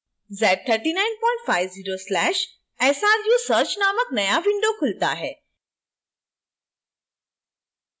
z3950/sru search नामक नया window खुलता है